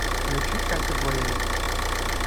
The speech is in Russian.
включи катю блейри